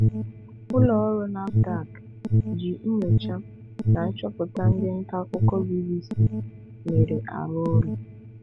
Ụlọ ọrụ Nafdac ji nyocha na nchọpụta ndị nta akụkọ BBC mere arụ ọrụ.